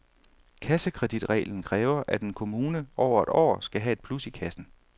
Kassekreditreglen kræver, at en kommune over et år skal have et plus i kassen.